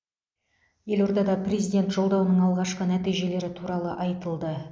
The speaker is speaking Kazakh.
елордада президент жолдауының алғашқы нәтижелері туралы айтылды